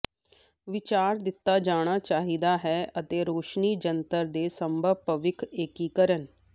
ਵਿਚਾਰ ਦਿੱਤਾ ਜਾਣਾ ਚਾਹੀਦਾ ਹੈ ਅਤੇ ਰੋਸ਼ਨੀ ਜੰਤਰ ਦੇ ਸੰਭਵ ਭਵਿੱਖ ਏਕੀਕਰਨ